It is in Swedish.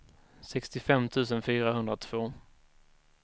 sextiofem tusen fyrahundratvå